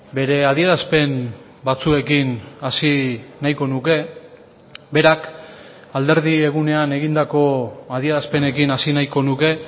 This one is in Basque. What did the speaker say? bere adierazpen batzuekin hasi nahiko nuke berak alderdi egunean egindako adierazpenekin hasi nahiko nuke